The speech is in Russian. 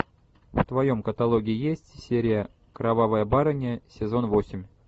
в твоем каталоге есть серия кровавая барыня сезон восемь